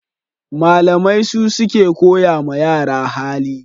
Malamai su suke koya ma yara hali